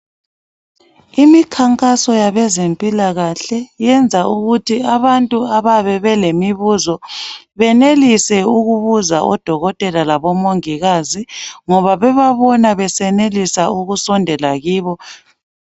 Imikhankaso yabezempilakahle, yenza ukuthi abantu abayabe belemibuzo benelise ukubuza odokotela labomongikazi, ngoba bebabona besenelisa ukusondela kibo.